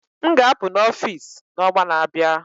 m ga-apụ na Office n'ọnwa na-abịa